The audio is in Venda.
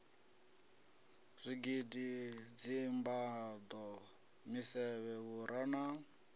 zwigidi dzimbado misevhe vhura na